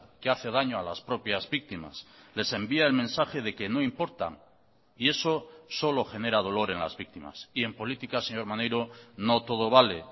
que hace daño a las propias víctimas les envía el mensaje de que no importan y eso solo genera dolor en las víctimas y en política señor maneiro no todo vale